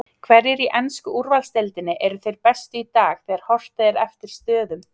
Hverjir í ensku úrvalsdeildinni eru þeir bestu í dag þegar horft er eftir stöðum?